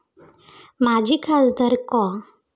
माजी खासदार कॉ.